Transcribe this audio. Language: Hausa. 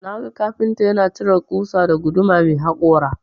Naga kafinta yana cire ƙusa da guduma mai hakora.